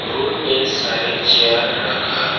room में सारे chair रखा--